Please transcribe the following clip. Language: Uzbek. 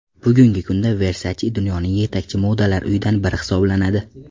Bugungi kunda Versace dunyoning yetakchi modalar uyidan biri hisoblanadi.